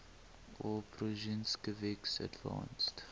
aw prusinkiewicz advanced